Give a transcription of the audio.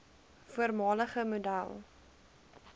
voormalige model